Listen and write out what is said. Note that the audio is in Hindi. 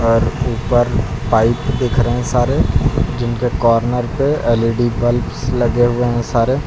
और ऊपर पाइप दिख रहे हैं सारे जिनके कॉर्नर पे एल_ई_डी बलब्स लगे हुए हैं सारे--